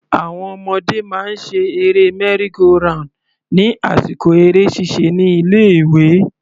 Àwọn ọmọdé máa ń ṣe eré merry-go-round ní àsìkò eré ṣíṣe ní ilé ìwé.